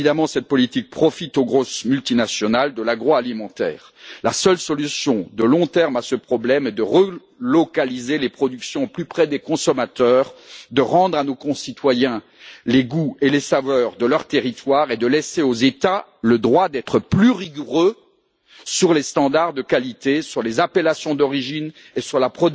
Cette politique profite évidemment aux grosses multinationales de l'agroalimentaire. La seule solution à long terme à ce problème est de relocaliser les productions plus près des consommateurs, de rendre à nos concitoyens les goûts et les saveurs de leur territoire et de laisser aux États le droit d'être plus rigoureux sur les normes de qualité, sur les appellations d'origine et sur